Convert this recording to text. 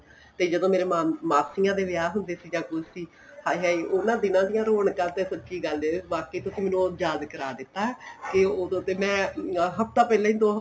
ਤੇ ਜਦੋਂ ਮੇਰੇ ਮਾਸੀਆਂ ਦੇ ਵਿਆਹ ਹੁੰਦੇ ਸੀ ਜਾਂ ਕੁੱਝ ਸੀ ਹਾਏ ਹਾਏ ਉਹਨਾ ਦਿਨਾਂ ਦੀਆਂ ਰੋਣਕਾਂ ਤਾਂ ਸੱਚੀ ਗੱਲ ਵਾਕੇ ਤੁਸੀਂ ਮੈਂਨੂੰ ਉਹ ਯਾਦ ਕਰਵਾ ਦਿੱਤਾ ਏ ਤੇ ਉਹਦੋ ਤੇ ਮੈਂ ਹੱਫ਼ਤਾ ਪਹਿਲੇ ਦੋ